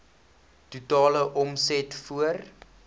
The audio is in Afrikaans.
totale omset voor